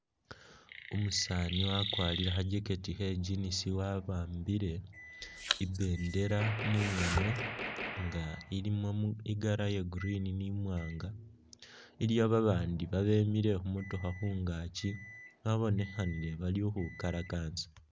Umusaani wakwarie kha'jacket khe'jinisi wawambile ibindela mungoono ilimo mu i'colour ya green ni mwaanga iliwo babaandi babemiile khumotokha khungaaki babonekhanile bali khukhwikalakasa